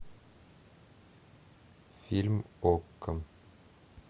фильм окко